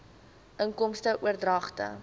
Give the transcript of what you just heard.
inkomste oordragte